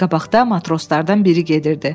Qabaqda matroslardan biri gedirdi.